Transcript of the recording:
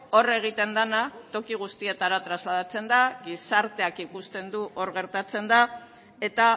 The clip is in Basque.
hor egiten dena toki guztietara trasladatzen da gizarteak ikusten du hor gertatzen dena eta